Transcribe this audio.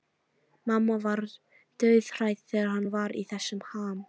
Mamma var dauðhrædd þegar hann var í þessum ham.